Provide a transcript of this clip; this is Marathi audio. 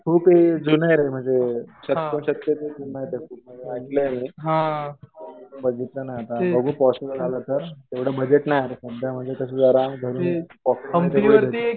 खूप हे रे जुनं आहे म्हणजे शतकोशतके जुनं आहे ते खूप. असं ऐकलंय मी. बघू पॉसिबल झालं तर. तेवढं बजेट नाही रे. सध्या म्हणजे कसं जरा घरून पॉकेटमनी वगैरे